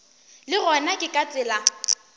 le gona ke ka tsela